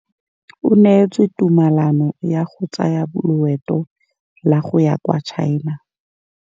O neetswe tumalanô ya go tsaya loetô la go ya kwa China.